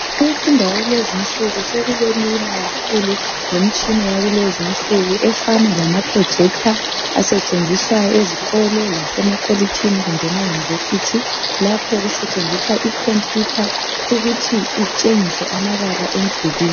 Kumfundo yakulezi insuku sokubelula kakhulu ngemitshina yakulezi insuku efana lama "projector" asetshenziswa ezikolo lasemakolitshini kumbe ema Yunivesi lapho okusetshenziswa ikhompiyutha ukuthi itshengise amabala emdulwini.